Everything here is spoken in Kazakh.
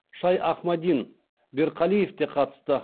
шайахмадин берқалиев те қатысты